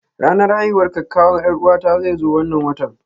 Ranar haihuwar kakkawan 'Yar'uwata zai zo wannan watan.